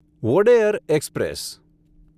Wodeyar express